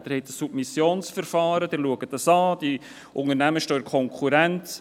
Sie haben ein Submissionsverfahren, Sie schauen es an, die Unternehmen stehen in Konkurrenz.